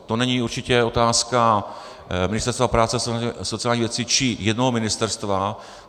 To není určitě otázka Ministerstva práce a sociálních věcí či jednoho ministerstva.